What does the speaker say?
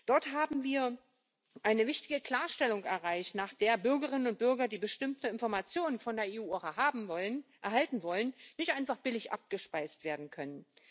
Dort haben wir eine wichtige Klarstellung erreicht, nach der Bürgerinnen und Bürger, die bestimmte Informationen von der EU erhalten wollen, nicht einfach billig abgespeist werden können.